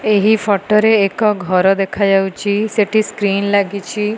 ଏହି ଫଟୋ ରେ ଏକ ଘର ଦେଖାଯାଉଛି ସେଠୀ ସ୍କ୍ରିନ୍ ଲାଗିଛି।